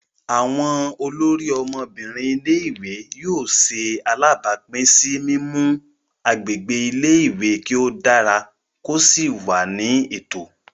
Awọn olórí Ọmọbinrin ilé-ìwé yóò ṣe alabapin si mimu agbègbè ilé-ìwé kí o dára ko sí wà ní ètò.